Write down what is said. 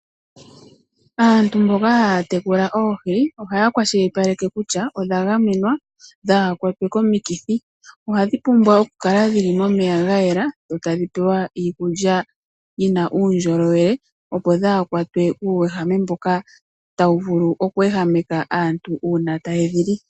Aantu mboka haya tekula oohi ohaya kwashilipaleke kutya odha gamenwa dhaa ha kwatwe komikithi, ohadhi pumbwa okukala momeya ga yela, sho tadhi pewa iikulya yina uundjolowele, opo dhaakwatwe kuuwehame mboka tawu vulu oku ehameka aantu uuna taye dhi li.